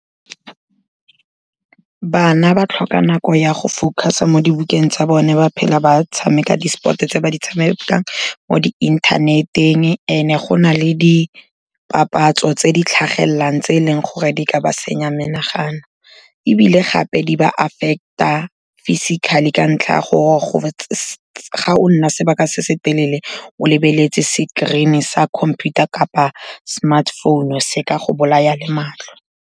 Bana ba tlhoka nako ya go focus-a mo dibukeng tsa bone, ba phela ba tshameka di-sport-e tse ba di tshamekang mo di inthaneteng and-e go na le dipapatso tse di tlhagelelang tse e leng gore di ka ba senya menagano. Ebile gape, di ba affect-a physically ka ntlha ya gore ga o nna sebaka se se telele o lebeletse screen-e sa computer kapa smartphone-u se ka go bolaya le matlho.